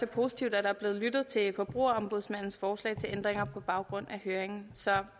positivt at der er blevet lyttet til forbrugerombudsmandens forslag til ændringer på baggrund af høringen så